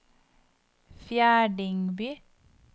Fjerdingby